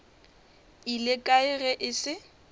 ile kae ge e se